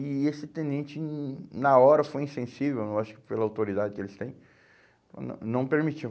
E esse tenente, hum na hora, foi insensível, eu acho que pela autoridade que eles têm, nã não permitiu.